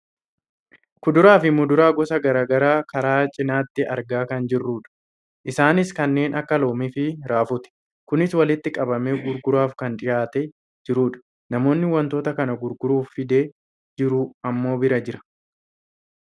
kuduraa fi muduraa gosa gara garaa karaa cinaatti argaa kan jirrudha, isaanis kanneen akka loomii fi raafuuti. kunis walitti qabamee gurguraaf kan dhiyaate jirudha. namni wantoota kana gurguruuf fidee jiru ammoo bira jira.